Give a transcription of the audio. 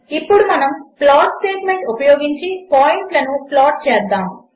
ఇప్పుడు మనము plot statement ఉపయోగించి పాయింట్లను ప్లాట్ చేద్దాము